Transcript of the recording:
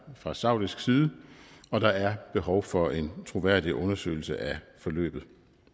fra saudisk side og der er behov for en troværdig undersøgelse af forløbet